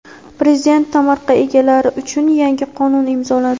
Prezident tomorqa egalari uchun yangi qonun imzoladi.